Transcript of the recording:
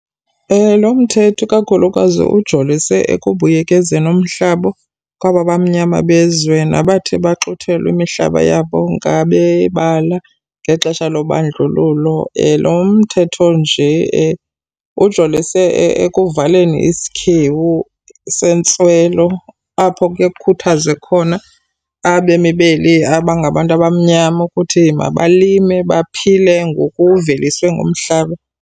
Lo mthetho kakhulukazi ujolise ekubuyekezeni umhlaba kwaba bamnyama bezwe, nabathi baxuthelwa imihlaba yabo ngabebala ngexesha lobandlululo. Lo mthetho nje ujolise ekuvaleni isikhewu sentswelo apho kuye kukhuthazwe khona abemi beli abangabantu abamnyama ukuthi mabalime, baphile ngokuveliswe ngumhlaba.